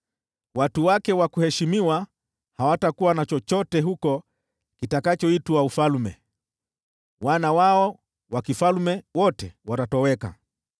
Watu wake wa kuheshimiwa hawatakuwa na chochote kitakachoitwa ufalme huko, nao wakuu wao wote watatoweka.